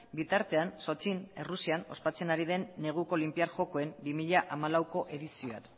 bitartean sochin errusian ospatzen ari den neguko olinpiar jokoen bi mila hamalauko edizioak